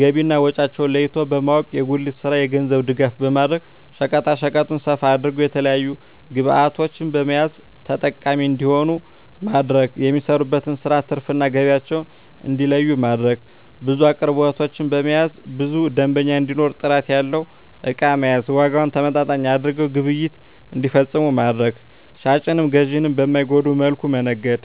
ገቢና ወጫቸውን ለይቶ በማወቅ። የጉሊቱን ስራ የገንዘብ ድጋፍ በማድረግ ሸቀጣሸቀጡን ሰፋ አድርገው የተለያዪ ግብዕቶችን በመያዝ ተጠቃሚ እንዲሆኑ ማድረግ። የሚሰሩበትን ስራ ትርፍ እና ገቢያቸውን እንዲለዪ ማድረግ። ብዙ አቅርቦቶችን በመያዝ ብዙ ደንበኛ እንዲኖር ጥራት ያለው እቃ መያዝ። ዋጋውን ተመጣጣኝ አድርገው ግብይት እንዲፈፅሙ ማድረግ። ሻጭንም ገዢንም በማይጎዳ መልኩ መነገድ